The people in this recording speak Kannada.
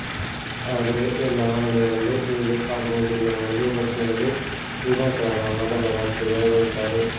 ಆದ್ರೆ ಎಲ್ಲ ಮಹಿಳೆಯರಲ್ಲೂ ಹೀಗೆ ಆಗುವುದಿಲ್ಲ ಎಂಬುದು ಗೊತ್ತಿರದೆ ವಿನಃ ಕಾರಣ ಮೊದಲ ರಾತ್ರಿ ಭಯಗೊಳ್ತಾರೆ